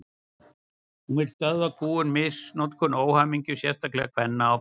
Hún vill stöðva kúgun, misnotkun og óhamingju, sérstaklega kvenna og barna.